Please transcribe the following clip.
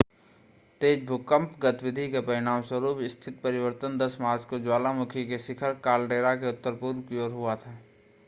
तेज़ भूकंप गतिविधि के परिणामस्वरूप स्थिति परिवर्तन 10 मार्च को ज्वालामुखी के शिखर कालडेरा के उत्तर-पूर्व की ओर हुआ था